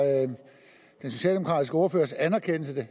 den socialdemokratiske ordførers anerkendelse